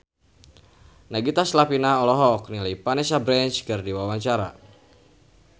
Nagita Slavina olohok ningali Vanessa Branch keur diwawancara